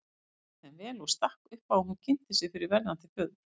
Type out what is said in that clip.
Hann tók þeim vel og stakk upp á að hún kynnti sig fyrir verðandi föður.